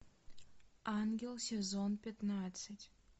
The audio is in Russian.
ангел сезон пятнадцать